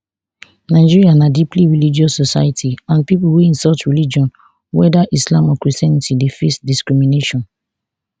nigeria na deeply religious society and pipo wey insult religion weda islam or christianity dey face discrimination